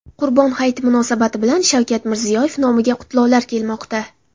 Qurbon hayiti munosabati bilan Shavkat Mirziyoyev nomiga qutlovlar kelmoqda.